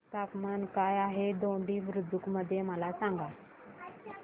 तापमान काय आहे दोडी बुद्रुक मध्ये मला सांगा